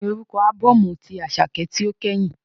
Kíni orúkọ ábọ́ọ̀mù tí Àṣàkẹ́ tí ó kẹ́yìn?